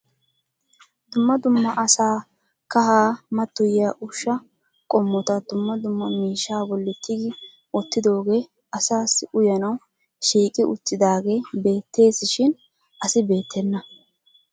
Dumma dumma asaa kahaa mattoyiya ushshaa qommota dumma dumma miishsha bolli tigi wottidooge asassi uyanawu shiiqqi uttidaagee beettees shin asi beettena.